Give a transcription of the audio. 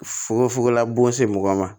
Fukofugola bon se mɔgɔ ma